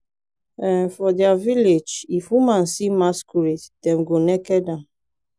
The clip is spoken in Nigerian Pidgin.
um for dia village if woman see masquerade dem go naked am